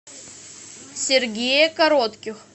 сергее коротких